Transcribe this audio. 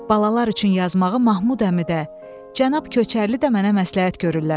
Balalar üçün yazmağı Mahmud əmi də, Cənab Köçərli də mənə məsləhət görürlər.